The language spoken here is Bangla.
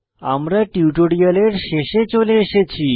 আমরা টিউটোরিয়ালের শেষে চলে এসেছি